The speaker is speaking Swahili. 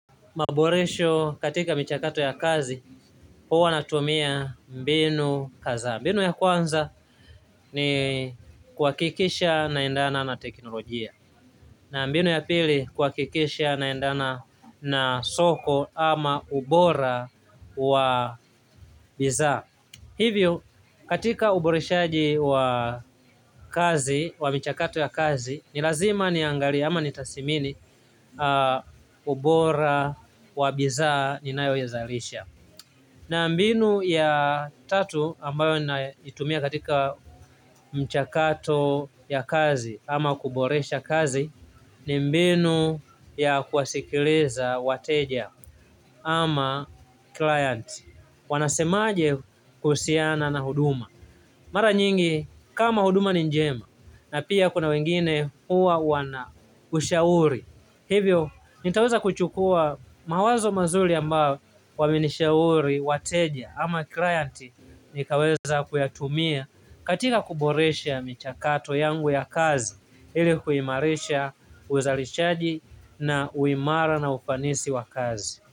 Maboresho katika michakato ya kazi, huwa natumia mbinu kadha. Mbinu ya kwanza ni kuhakikisha naendana na teknolojia. Na mbinu ya pili kuhakikisha naendana na soko ama ubora wa bidhaa. Hivyo katika uboreshaji wa kazi, wa michakato ya kazi, ni lazima niangalie ama ni tathmini ubora wa bidhaa ninayoizalisha na mbinu ya tatu ambayo naitumia katika mchakato ya kazi ama kuboresha kazi ni mbinu ya kuwasikiliza wateja ama client wanasemaje kuhusiana na huduma mara nyingi kama huduma ni njema na pia kuna wengine huwa wana ushauri, hivyo nitaweza kuchukua mawazo mazuri ambao wamenishauri wateja ama clienti nikaweza kuyatumia katika kuboresha michakato yangu ya kazi ili kuimarisha uzalishaji na u imara na ufanisi wa kazi.